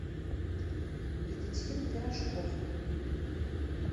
екатерину пирожкову